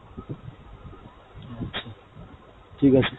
আচ্ছা, ঠিক আছে।